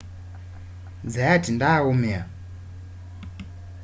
zayat ndaaumia